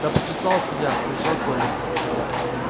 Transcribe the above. да почесался я кричал коля